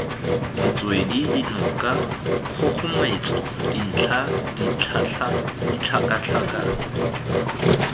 metswedi dinoka kgogometso dintlha ditlhakatlhake